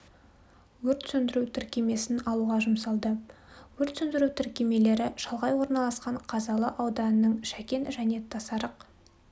өрт сөндіру тіркемесін алуға жұмсалды өрт сөндіру тіркемелері шалғай орналасқан қазалы ауданының шәкен және тасарық